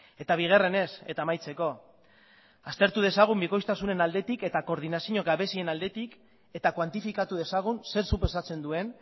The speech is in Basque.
eta bigarrenez eta amaitzeko aztertu dezagun bikoiztasunen aldetik eta koordinazio gabezien aldetik eta kuantifikatu dezagun zer suposatzen duen